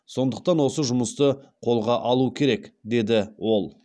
сондықтан осы жұмысты қолға алу керек деді ол